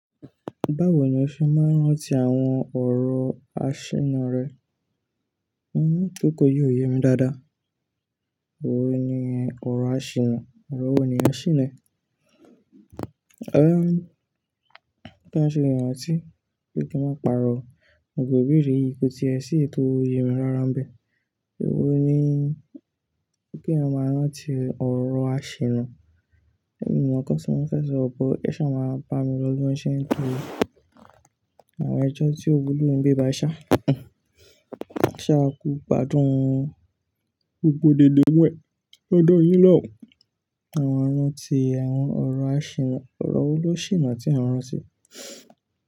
Báwo ni o ṣe máa ń rántí àwọn ọ̀rọ̀ àṣonu rẹ? Òún tó kọ yi ò yemi dáadáa. Òwe ni ẹ, ọ̀rọ̀ àṣìna, ọ̀rọ̀ wo ni ẹ ṣìná? Ehn, kí a ṣe iranti tí, kí kí n máa pàrọ̀, gbogbo ibeère yìí ko ti ẹ sì èyi to yemi rára ń bẹ. Ò ni, kí eeyan maa rántí ọ̀rọ̀ àṣìna. Ẹ̀mí o mọ́ nkan tí mọ́ fẹ́ sọ but, ẹ ṣa máa bá mi fogbon ṣẹ́ nítorí àwọn ẹjọ́ tí ò wulo ni ibi báyii ṣá, ṣá a kú gbádùn gbogbo dède wẹ lọ́dọ̀ yín lọ́hùn. Àwọn rántí àwọn ọ̀rọ̀ àṣìna, ọ̀rọ̀ wo ló sìná tí ẹ ń rántí?